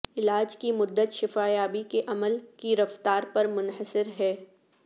علاج کی مدت شفا یابی کے عمل کی رفتار پر منحصر ہے